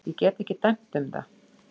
Ég get ekki dæmt um það.